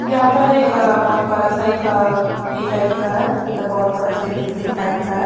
यहां पर एक बहोत बड़ा सा एक ये टाइप का है मतलब बहोत बड़ा सा एक बिल्डिंग टाइप का हैं।